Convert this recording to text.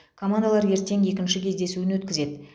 командалар ертең екінші кездесуін өткізеді